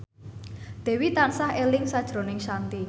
Dewi tansah eling sakjroning Shanti